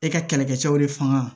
E ka kɛlɛkɛ cɛw de fanga